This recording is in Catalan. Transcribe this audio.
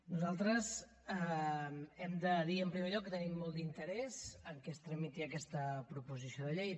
nosaltres hem de dir en primer lloc que tenim molt d’interès que es tramiti aquesta proposició de llei